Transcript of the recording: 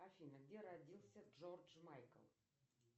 афина где родился джордж майкл